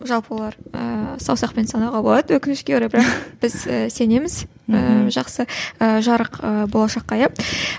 жалпы олар ыыы саусақпен санауға болады өкінішке орай бірақ біз сенеміз ыыы жақсы ы жарық ы болашаққа иә